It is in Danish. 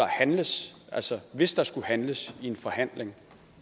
handles altså hvis der skulle handles i en forhandling